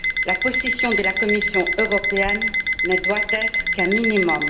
La position de la Commission européenne ne doit être qu'un minimum.